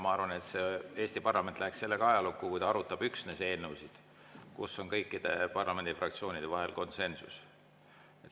Ma arvan, et Eesti parlament läheks ajalukku, kui ta arutaks üksnes eelnõusid, kus on kõikide parlamendifraktsioonide vahel konsensus.